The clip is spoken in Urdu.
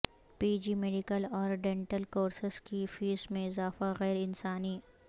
پی جی میڈیکل اور ڈینٹل کورسس کی فیس میں اضافہ غیر انسانی